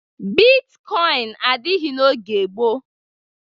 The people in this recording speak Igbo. Bitkọịn adịghị n'oge gboo.